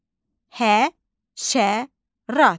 Həşərat.